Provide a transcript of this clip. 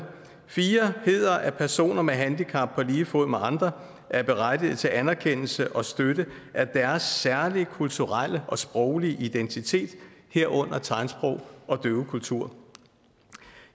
fire hedder at personer med handicap på lige fod med andre er berettiget til anerkendelse og støtte af deres særlige kulturelle og sproglige identitet herunder tegnsprog og døvekultur